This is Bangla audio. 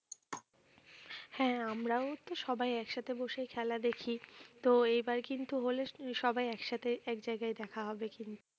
হ্যাঁ আমরাও তো সবাই একসাথে বসে খেলা দেখি তো এইবার কিন্তু হলে সবাই একসাথে এক জায়গায় দেখা হবে কিন্তু